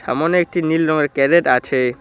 সামনে একটি নীল রঙের ক্যারেট আছে।